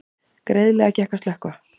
Greiðlega gekk að slökkva